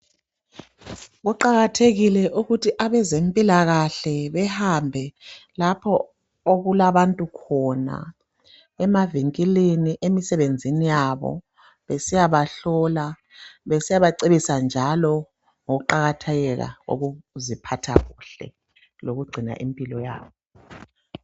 Kuqakathekile ukuthi abezempilakahle behambe lapho okulabantu khona emavinkilini, emisebenzini yabo besiyabahlola, besiyabacebisa njalo ngokuqakatheka kokuziphatha kuhle lokugcina impilo yakho.